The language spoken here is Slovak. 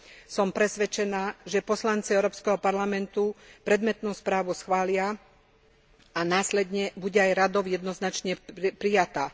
Som presvedčená, že poslanci Európskeho parlamentu predmetnú správu schvália a následne bude aj Radou jednoznačne prijatá.